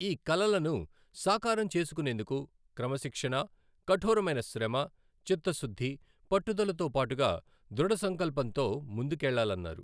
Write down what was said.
ఈ కలలను సాకారం చేసుకునేందుకు క్రమశిక్షణ, కఠోరమైన శ్రమ, చిత్తశుద్ధి, పట్టుదలతోపాటుగా దృఢసంకల్పంతో ముందుకెళ్లాలన్నారు.